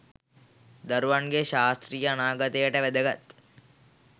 දරුවන්ගේ ශාස්ත්‍රීය අනාගතයට වැදගත්.